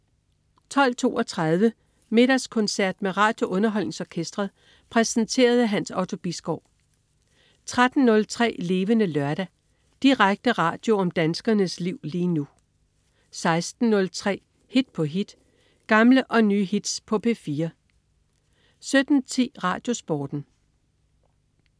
12.32 Middagskoncert med RadioUnderholdningsOrkestret. Præsenteret af Hans Otto Bisgaard 13.03 Levende Lørdag. Direkte radio om danskernes liv lige nu 16.03 Hit på hit. Gamle og nye hits på P4 17.10 RadioSporten